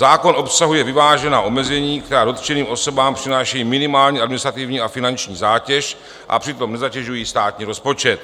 Zákon obsahuje vyvážená omezení, která dotčeným osobám přinášejí minimální administrativní a finanční zátěž, a přitom nezatěžují státní rozpočet.